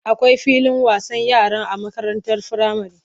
Akwai filin wasan yara a makarantar firamare.